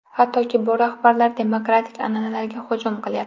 Hattoki, bu rahbarlar demokratik an’analarga hujum qilyapti.